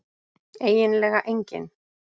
eiginlega enginn